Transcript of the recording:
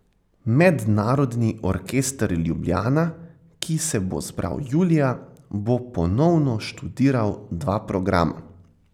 Mednarodni orkester Ljubljana, ki se bo zbral julija, bo ponovno študiral dva programa.